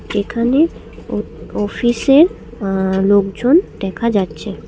এখানে ও অফিসে অ্য লোকজন দেখা যাচ্ছে।